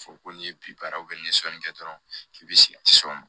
Fɔ ko n'i ye bi baara n ye sɔnni kɛ dɔrɔn k'i bi se ka s'o ma